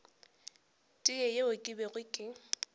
tee yeo ke bego ke